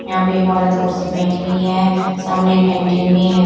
यहाँ पे एक औरत कुर्सी पे बेठी हुई है सामने एक कैंटीन भी है।